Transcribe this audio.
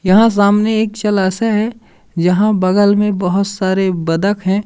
यहां सामने एक जलाशय है यहां बगल में बहोत सारे बदक हैं।